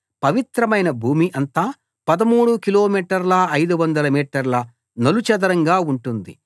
పవిత్రమైన భూమి అంతా 13 కిలోమీటర్ల 500 మీటర్ల నలు చదరంగా ఉంటుంది